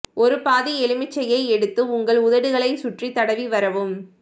ஒரு பாதி எலுமிச்சையை எடுத்து உங்கள் உதடுகளைச் சுற்றி தடவி வரவும்